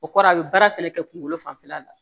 O kɔrɔ a bɛ baara fɛnɛ kɛ kunkolo fanfɛla la